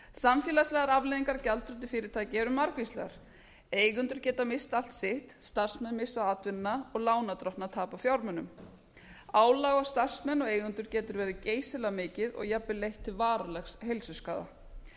samfélagslegar afleiðingar af gjaldþroti fyrirtækja eru margvíslegar eigendur geta misst allt sitt starfsmenn missa atvinnuna og lánardrottnar tapa fjármunum álag á starfsmenn og eigendur getur verið geysilega mikið og jafnvel leitt til varanlegs heilsuskaða